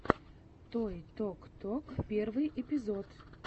той ток ток первый эпизод